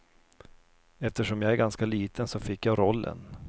Eftersom jag är ganska liten så fick jag rollen.